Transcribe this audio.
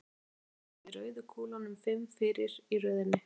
Síðan komum við rauðu kúlunum fimm fyrir í röðinni.